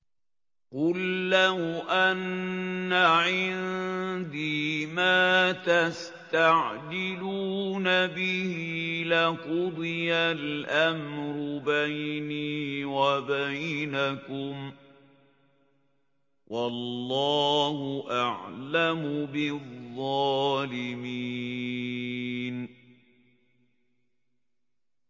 قُل لَّوْ أَنَّ عِندِي مَا تَسْتَعْجِلُونَ بِهِ لَقُضِيَ الْأَمْرُ بَيْنِي وَبَيْنَكُمْ ۗ وَاللَّهُ أَعْلَمُ بِالظَّالِمِينَ